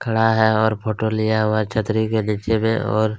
खड़ा है और फ़ोटो लिया हुआ है छतरी के नीचे में और --